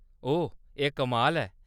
ओह्‌‌, एह्‌‌ कमाल ऐ।